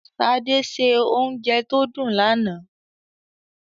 Ṣadé se oúnjẹ tó dùn lánàá.